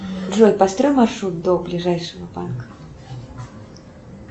джой построй маршрут до ближайшего банка